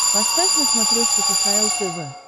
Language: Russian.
поставь на смотрешке кхл тв